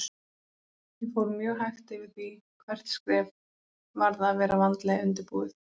Ég fór mjög hægt yfir því hvert skref varð að vera vandlega undirbúið.